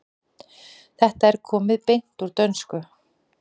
Þetta er komið beint úr dönsku.